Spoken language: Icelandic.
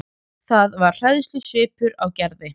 Það var hræðslusvipur á Gerði.